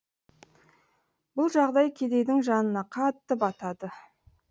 бұл жағдай кедейдің жанына қатты батады